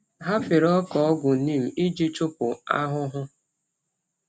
Ha fere ọka ọgwụ neem iji chụpụ anụhụhụ.